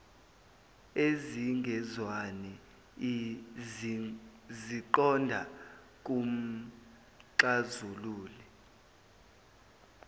ezingezwani ziqonda kumxazululi